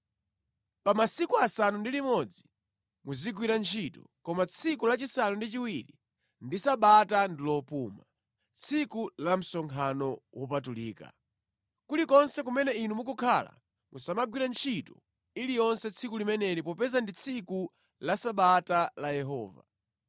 “ ‘Pa masiku asanu ndi limodzi muzigwira ntchito, koma tsiku lachisanu ndi chiwiri ndi Sabata lopuma, tsiku la msonkhano wopatulika. Kulikonse kumene inu mukukhala musamagwire ntchito iliyonse tsiku limeneli popeza ndi tsiku la Sabata la Yehova.